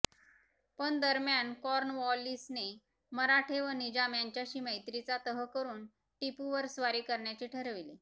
पण दरम्यान कॉर्नवॉलिसने मराठे व निजाम यांच्याशी मैत्रीचा तह करून टिपूवर स्वारी करण्याचे ठरविले